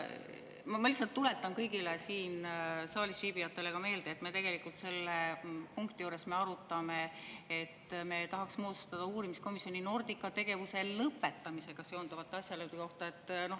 Ma lihtsalt tuletan kõigile siin saalis viibijatele meelde, et tegelikult selle punkti juures me arutame seda, et me tahaks moodustada uurimiskomisjoni Nordica tegevuse lõpetamisega seonduvate asjaolude.